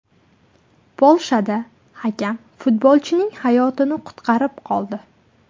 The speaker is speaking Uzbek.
Polshada hakam futbolchining hayotini qutqarib qoldi .